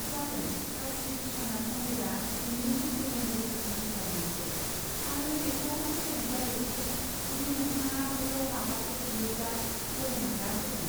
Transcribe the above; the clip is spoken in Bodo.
जागोन, काशी बिश्वनाथ मन्दिरा जिनै ज्योतिर्लिंगफोरनि गेजेराव मोनसे, आरो बेखौ फोथायनाय जायो दि जुदि नोंथाङा बैयाव माबाफोर बियोब्ला भ'लेनाथआ होगोन!